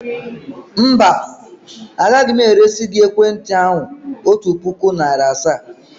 Mba, agaghị m eresi gị ekwentị ahụ otu puku naịra asaa.